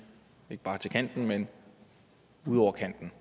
ikke bare til kanten men ud over kanten